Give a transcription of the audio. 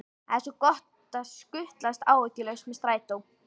Það er svo gott að skutlast áhyggjulaus með strætó.